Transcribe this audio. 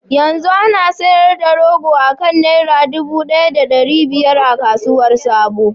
Yanzu ana sayar da rogo akan naira dubu daya da dari biyar a kasuwar sabo.